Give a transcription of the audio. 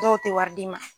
Dɔw tɛ wari d'i ma